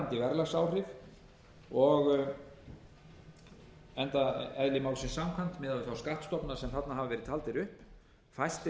þær hverfandi verðlagsáhrif enda eðli málsins samkvæmt miðað við þá skattstofna sem þarna hafa verið taldir upp fæstir